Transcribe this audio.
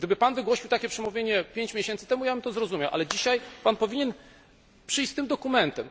Gdyby Pan wygłosił takie przemówienie pięć miesięcy temu, ja bym to zrozumiał. Ale dzisiaj powinien Pan przyjść z tym dokumentem.